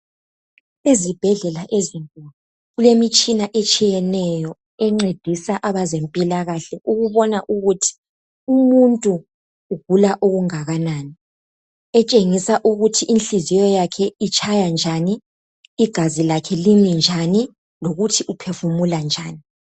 Ezibhedlela ezinkulu kulemitshina etshiyeneyo encedisa abezempilakahle ukubona ukuthi umuntu ugula okungànani etshengisa ukuthi inhliziyo yakhe itshaya njani igazi lakhe limi njani lokuthi uphefumula njani.